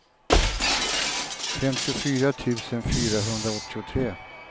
femtiofyra tusen fyrahundraåttiotre